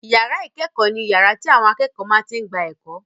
Ìyàrá ìkẹ́kọ̀ọ́ ni yàrá tí àwọn akẹ́kọ̀ọ́ máa tí n gba ẹ̀kọ́